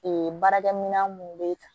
baarakɛminɛn mun bɛ